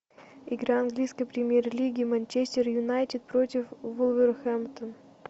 игра английской премьер лиги манчестер юнайтед против вулверхэмптон